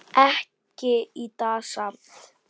Ekki í dag samt.